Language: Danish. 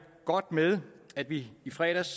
godt med at vi i fredags